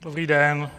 Dobrý den.